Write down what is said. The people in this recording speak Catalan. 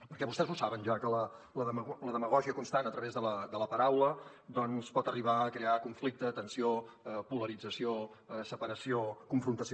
perquè vostès ho saben ja que la demagògia constant a través de la paraula doncs pot arribar a crear conflicte tensió polarització separació confrontació